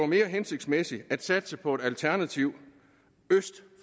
mere hensigtsmæssigt at satse på et alternativ øst